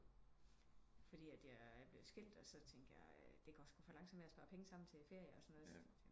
Fordi at jeg er blevet skilt og så tænkte jeg det går squ for langsom med at spare penge sammen til ferie og sådan noget